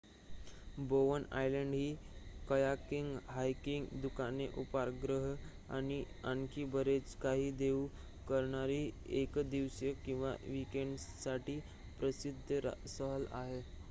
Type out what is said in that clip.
बोवन island ही kayaking hiking दुकाने उपहारगृहे आणि आणखी बरेच काही देऊ करणारी एक दिवसीय किंवा वीकेंडसाठी प्रसिद्ध सहल आहे